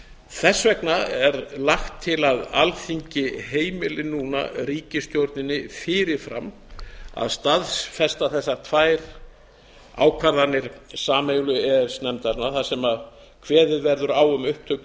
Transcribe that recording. þess vegna er lagt til að alþingi heimili núna ríkisstjórninni fyrirfram að staðfesta þessar tvær ákvarðanir sameiginlegu e e s nefndarinnar þar sem kveðið verður á um upptöku